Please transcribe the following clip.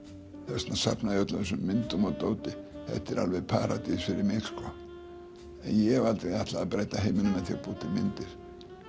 þess vegna safna ég öllum þessum myndum og dóti þetta er algjör paradís fyrir mig en ég hef aldrei ætlað að breyta heiminum með því að búa til myndir